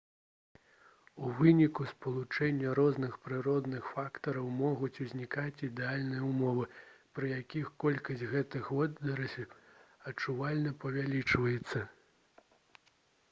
у выніку спалучэння розных прыродных фактараў могуць узнікаць ідэальныя ўмовы пры якіх колькасць гэтых водарасцяў адчувальна павялічваецца